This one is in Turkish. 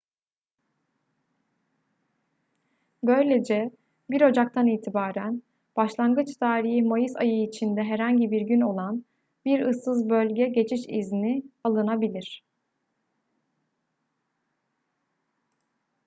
böylece 1 ocak'tan itibaren başlangıç tarihi mayıs ayı içinde herhangi bir gün olan bir ıssız bölge geçiş izni alınabilir